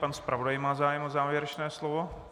Pan zpravodaj má zájem o závěrečné slovo.